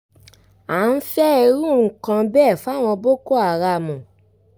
a ń fẹ́ irú nǹkan bẹ́ẹ̀ fáwọn boko haram